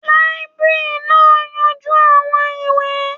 Làìbéríànì náà ń yanjú àwọn ìwé.